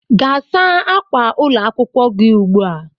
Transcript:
Gaa saa ákwà ụlọ akwụkwọ gi ugbua